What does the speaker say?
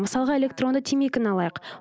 мысалға электронды темекіні алайық